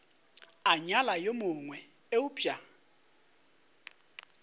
a nyala yo mongwe eupša